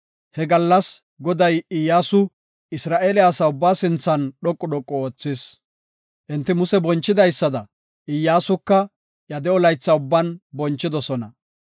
He gallas, Goday Iyyasu Isra7eele asa ubbaa sinthan dhoqu dhoqu oothis. Enti Muse bonchidaysada Iyyasuka iya de7o laytha ubban bonchidosona.